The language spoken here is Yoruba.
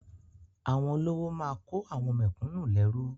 Àwọn olówó máa kó àwọn mẹ̀kúnnù lẹ́rú.